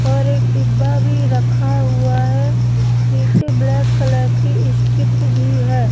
और एक डिब्बा भी रखा हुआ है नीचे ब्लैक कलर की ईस्ट्रिप भी है।